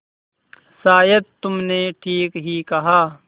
शायद तुमने ठीक ही कहा